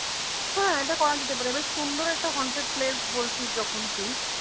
হ্যাঁ এটা করা যেতে পারে এবার সুন্দর একটা haunted place বলছিস যখন তুই।